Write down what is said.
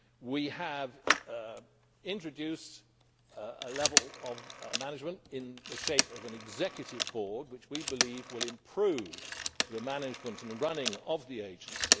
We have introduced a level of management in the form of an executive board, which we believe will improve the management and running of the agency.